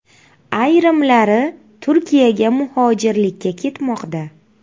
Ayrimlari Turkiyaga muhojirlikka ketmoqda.